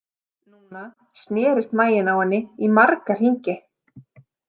Núna snerist maginn á henni í marga hringi.